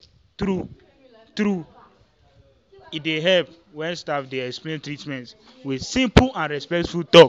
true-true e dey help when staff dey explain treatment with simple and respectful talk.